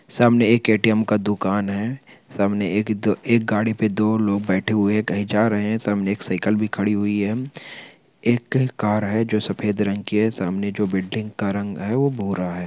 सामने एक ए_टी_एम का दुकान है। सामने एक दो एक गाडी पे दो लोग बैठे हुए हैं कही जा रहे हैं । सामने एक साइकिल भी खड़ी हुई है। एक कार है जो सफेद रंग की है । सामने जो बिल्डिंग का रंग है वो भूरा है।